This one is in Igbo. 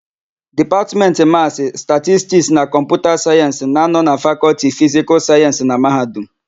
Dipatmentị Masị, Statistik na Kọmputa Sayensị na -anọ na Fakọlti Fisikal Sayensị na Mahadum.